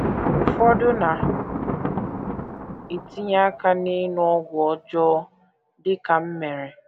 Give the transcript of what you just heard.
Ụfọdụ na - etinye aka n’ịṅụ ọgwụ ọjọọ, dị ka m mere.